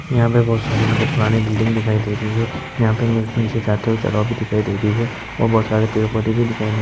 बहोत सारे मेरे को पुराने बिल्डिंग भी दिखाई दे रही है। यहां पे नीचे जाते हुए जगह भी दिखाई दे रही है और बहोत सारे पेड़-पौधे भी दिखाई दे रहे हैं।